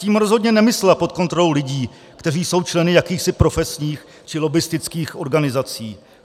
Tím rozhodně nemyslela pod kontrolou lidí, kteří jsou členy jakýchsi profesních či lobbistických organizací.